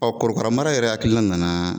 korokara mara yɛrɛ hakilina nana